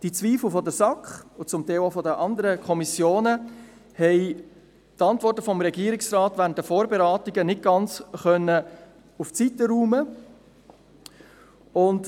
Die Antworten des Regierungsrates während der Vorberatungen haben die Zweifel der SAK – und teilweise auch der anderen Kommissionen – nicht ganz zur Seite räumen können.